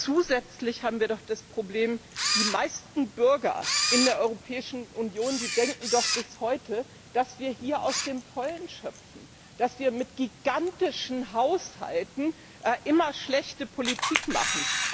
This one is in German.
Zusätzlich haben wir das Problem, dass die meisten Bürger in der Europäischen Union bis heute denken, dass wir hier aus dem Vollen schöpfen, dass wir mit gigantischen Haushalten immer schlechte Politik machen.